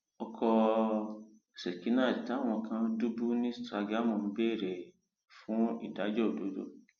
ọkọ um seknet táwọn kan dùbú ní sàgámù ń béèrè um fún ìdájọ òdodo